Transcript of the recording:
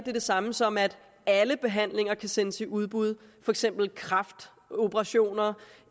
er det samme som at alle behandlinger kan sendes i udbud for eksempel kræftoperationer